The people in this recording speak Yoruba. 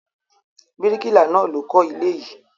Bíríkìlà náà ló kọ́ ilé yìí.